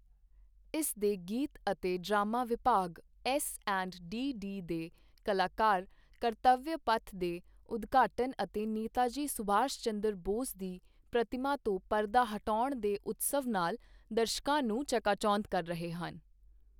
ਇਸ ਦੇ ਗੀਤ ਅਤੇ ਡਰਾਮਾ ਵਿਭਾਗ ਐੱਸਐਂਡਡੀਡੀ ਦੇ ਕਲਾਕਾਰ ਕਰਤਵਯ ਪਥ ਦੇ ਉਦਘਾਟਨ ਅਤੇ ਨੇਤਾਜੀ ਸੁਭਾਸ਼ ਚੰਦਰ ਬੋਸ ਦੀ ਪ੍ਰਤਿਮਾ ਤੋਂ ਪਰਦਾ ਹਟਾਉਣ ਦੇ ਉੱਤਸਵ ਨਾਲ ਦਰਸ਼ਕਾਂ ਨੂੰ ਚਕਾਚੌਂਧ ਕਰ ਰਹੇ ਹਨ।